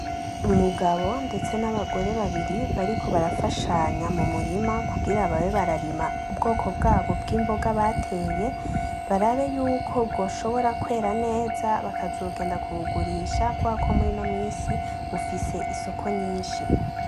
Umugabo ndetse n'abagore babiri bariko barafashanya mumurima kugira babe bararima ubwoko bwabo bw'imboga bateye, barabe yuko bwoshobora kwera neza bakazogenda kubugurisha kuberako murino minsi bufise isoko nyinshi .